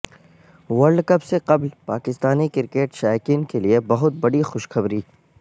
world cup سے قبل Pakistani cricket شائقین کیلئے بہت بڑی خوشخبری